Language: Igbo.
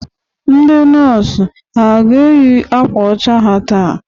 Ndị nọs ha a ga-eyị akwa ọcha ha taa?